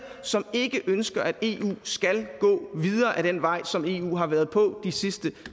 som ikke ønsker at eu skal gå videre ad den vej som eu har været på de sidste